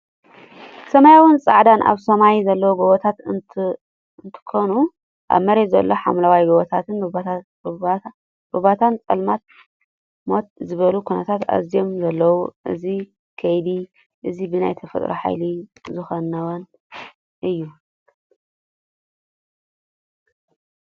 ሰማያዊን ፃዕዳን ኣብ ሰማይ ዘለው ጎቦታት እነትከውኑ ኣብ መሬት ዘሎ ሓምለዋይ ጎቦታትን ሩባትን ፅልምት ምት ዝበሉ ኩነታት እዝዮም ዘለው። እዚ ከይዲ እዚ ብናይ ተፈጥሮ ሓየሊ ዝከናወን እዩ።